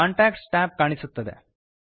contacts tab ಕಾಣಿಸುತ್ತದೆ